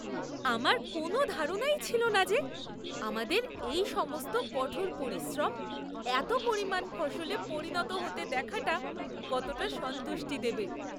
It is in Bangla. আমার কোনও ধারণাই ছিল না যে, আমাদের এই সমস্ত কঠোর পরিশ্রম এত পরিমাণ ফসলে পরিণত হতে দেখাটা কতটা সন্তুষ্টি দেবে।